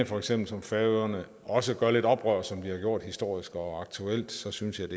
for eksempel færøerne også gør lidt oprør som de har gjort historisk og aktuelt så synes jeg